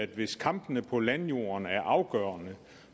hvis kampene på landjorden er afgørende